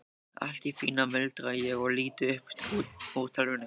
Allt í fína, muldra ég og lít upp úr tölvunni.